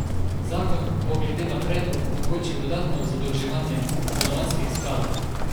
Zakon bo glede na predlog omogočil dodatno zadolževanje stanovanjskih skladov.